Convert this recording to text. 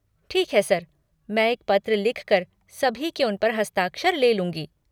ठीक है सर, मैं एक पत्र लिख कर सभी के उस पर हस्ताक्षर ले लूँगी।